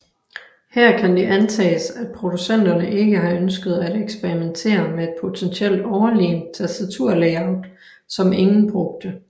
Her kan det antages at producenterne ikke har ønsket at eksperimentere med et potentielt overlegent tastaturlayout som ingen brugte